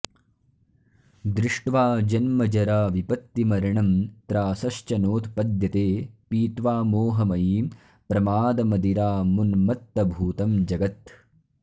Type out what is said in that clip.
दृष्ट्वा जन्मजराविपत्तिमरणं त्रासश्च नोत्पद्यते पीत्वा मोहमयीं प्रमादमदिरामुन्मत्तभूतं जगत्